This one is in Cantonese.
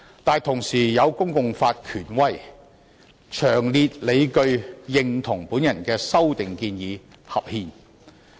但是，同時亦有公共法權威人士詳列理據，認同我的修訂建議合憲。